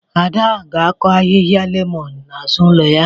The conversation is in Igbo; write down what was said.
Ada ga-akọ ahịhịa lemọn n'azụ ụlọ ya